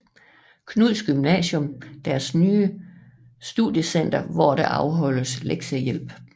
Knuds Gymnasium deres nye Studiecenter hvor der afholdes lektiehjælp